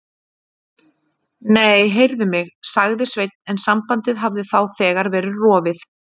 Nei, heyrðu mig. sagði Sveinn en sambandið hafði þá þegar verið rofið.